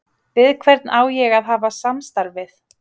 Við hvern á ég að hafa samstarf við?